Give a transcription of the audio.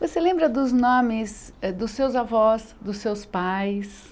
Você lembra dos nomes dos seus avós, dos seus pais?